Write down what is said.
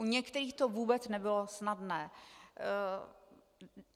U některých to vůbec nebylo snadné.